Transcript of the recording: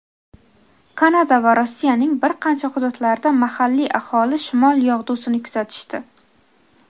Kanada va Rossiyaning bir qancha hududlarida mahalliy aholi Shimol yog‘dusini kuzatishdi.